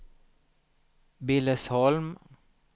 Billesholm